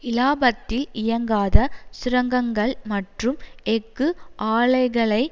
இலாபத்தில் இயங்காத சுரங்கங்கள் மற்றும் எஃகு ஆலைகளை